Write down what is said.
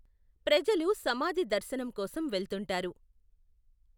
ప్రజలు సమాధి దర్శనం కోసం వెళ్తుంటారు.